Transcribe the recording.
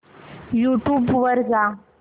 YouTube वर जा